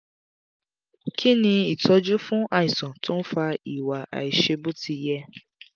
kí ni itoju fún àìsàn tó ń fa iwa aisebotiye?